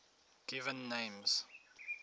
given names